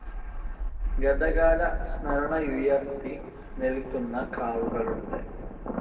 ഗതകാല സ്മരണയുയർത്തി നിൽക്കുന്ന കാവുകളുണ്ട്.